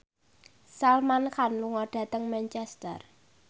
Salman Khan lunga dhateng Manchester